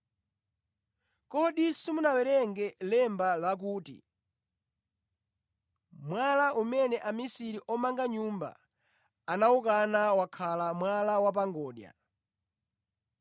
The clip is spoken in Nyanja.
Kodi simunawerenge lemba lakuti: “ ‘Mwala umene amisiri omanga nyumba anawukana wakhala mwala wa pa ngodya.